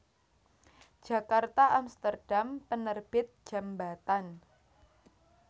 Djakarta Amsterdam Penerbit Djambatan